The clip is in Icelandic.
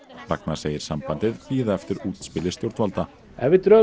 Ragnar segir sambandið bíða eftir útspili stjórnvalda ef við drögum